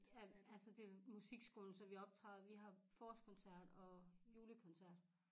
Ja altså det er musikskolen så vi optræder vi har forårskoncert og julekoncert